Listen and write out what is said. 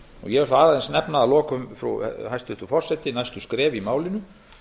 ég vil þá aðeins nefna að lokum hæstvirtur forseti næstu skref í málinu